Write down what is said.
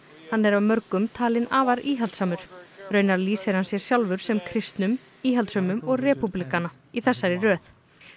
hann er af mörgum talinn afar íhaldssamur raunar lýsir hann sér sjálfur sem kristnum íhaldssömum og repúblikana í þessari röð